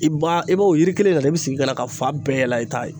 I b'a i b'o o yiri kelen na dɛ, i bɛ sigi ka ka fa bɛɛ yɛlɛn i ta ye.